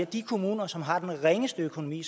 de kommuner som har den ringeste økonomi